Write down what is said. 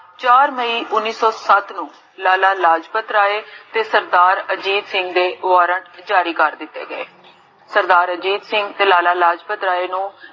ਚਾਰ ਮਈ ਉਨ੍ਨਿਸ ਸੋ ਸਤ ਨੂੰ, ਲਾਲਾ ਲਾਜਪਤ ਰਾਏ, ਤੇ ਸਰਦਾਰ ਅਜੀਤ ਸਿੰਘ ਜੀ ਦੇ ਦ੍ਵਾਰਾ ਜਾਰੀ ਕਰ ਦਿੱਤੇ ਗਏ ਸਰਦਾਰ ਅਜੀਤ ਸਿੰਘ ਤੇ ਲਾਲਾ ਲਾਜਪਤ ਰਾਏ ਨੂੰ,